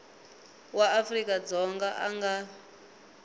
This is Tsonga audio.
wa afrika dzonga a nga